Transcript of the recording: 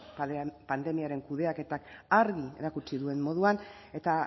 pandemiaren kudeaketak argi erakutsi duen moduan eta